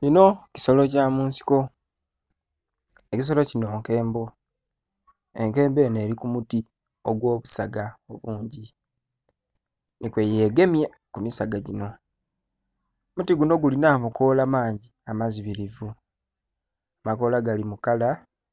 Kino kisolo kyamunsiko ekisolo kino nkembo, enkembo eno eri kumuti ogwobusaga obungi nikweyegemye kumisaga gino. Omuti guno guli namakoola mangi amazibirivu amakoola gali mukala